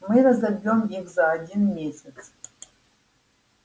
мы разобьём их за один месяц